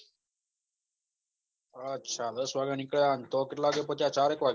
અછા દસ વાગ્યા નીકળ્યા અન તો કેટલા વાગે પહોંચ્યા ચાર એક વાગે